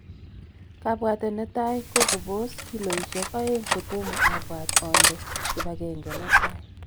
Kabwatet netai ko kopos kiloishek oeng' kotomo abwat onde kibagenge netai.